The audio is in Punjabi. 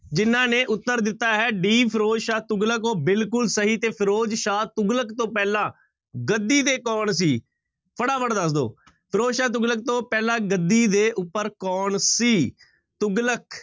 ਜ਼ਿਹਨਾਂ ਨੇ ਉੱਤਰ ਦਿੱਤਾ ਹੈ d ਫ਼ਿਰੋਜ਼ਸ਼ਾਹ ਤੁਗਲਕ ਉਹ ਬਿਲਕੁਲ ਸਹੀ ਤੇ ਫ਼ਿਰੋਜ਼ਸ਼ਾਹ ਤੁਗਲਕ ਤੋਂ ਪਹਿਲਾਂ ਗੱਦੀ ਤੇ ਕੌਣ ਸੀ? ਫਟਾਫਟ ਦੱਸ ਦਓ, ਫ਼ਿਰੋਜ਼ਸ਼ਾਹ ਤੁਗਲਕ ਤੋਂ ਪਹਿਲਾਂ ਗੱਦੀ ਦੇ ਉੱਪਰ ਕੌਣ ਸੀ? ਤੁਗਲਕ